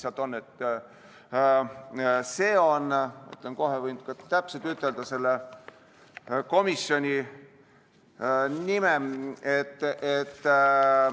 Ma ütlen kohe täpselt selle nime.